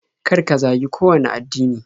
Kar ka zagi kowanne addini.